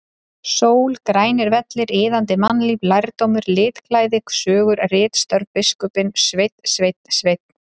Sól, grænir vellir, iðandi mannlíf, lærdómur, litklæði, sögur, ritstörf, biskupinn og Sveinn, Sveinn, Sveinn!!!